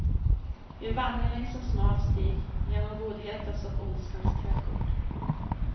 Vi vandrar längs en smal stig genom godhetens och ondskans trädgård.